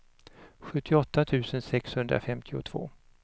sjuttioåtta tusen sexhundrafemtiotvå